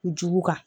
Jugu kan